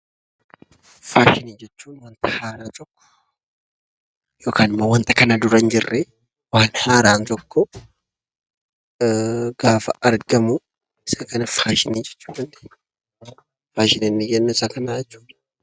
Faashinii jechuun wanta haaraa tokko (wanta kana dura hin jirre) waan haaraan tokko gaafa argamu, isa kana faashinii jechuu dandeenya. Faashinii inni jennu isa kana jechuu dha.